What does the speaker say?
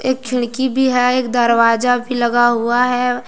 एक खिड़की भी है एक दरवाजा भी लगा हुआ है।